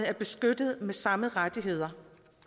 er beskyttet med samme rettigheder